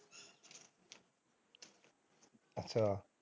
ਅੱਛਾ।